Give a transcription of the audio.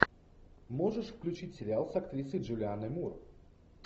можешь включить сериал с актрисой джулианой мур